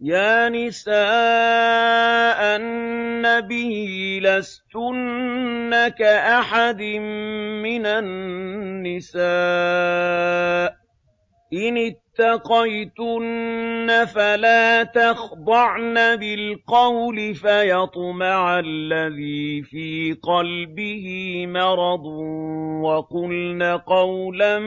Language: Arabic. يَا نِسَاءَ النَّبِيِّ لَسْتُنَّ كَأَحَدٍ مِّنَ النِّسَاءِ ۚ إِنِ اتَّقَيْتُنَّ فَلَا تَخْضَعْنَ بِالْقَوْلِ فَيَطْمَعَ الَّذِي فِي قَلْبِهِ مَرَضٌ وَقُلْنَ قَوْلًا